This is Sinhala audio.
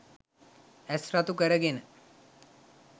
ඇස් රතු කරගෙන